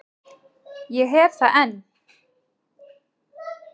Ég hef það enn.